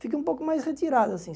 Fiquei um pouco mais retirado, assim.